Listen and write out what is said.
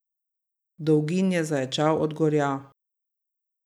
Dolgin je zaječal od gorja.